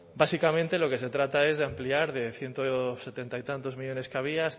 básicamente lo que se trata es de ampliar de ciento setenta y tantos millónes que había